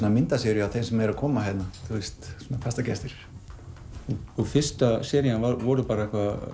myndaseríu af þeim sem er að koma hingað fastagestir fyrsta serían var bara